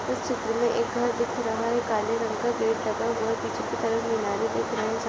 इस चित्र में एक घर दिख रहा है काले रंग का गेट लगा हुआ पीछे की तरफ मीनारे दिख रहे।